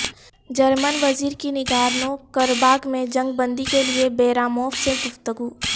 German وزیرکی Nagorno Karabakh میں جنگ بندی کیلئے بیراموف سے گفتگو